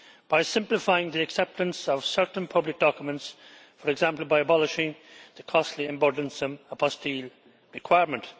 by simplifying the acceptance of certain public documents, for example, by abolishing the costly and burdensome requirement.